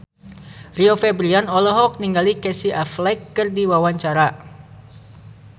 Rio Febrian olohok ningali Casey Affleck keur diwawancara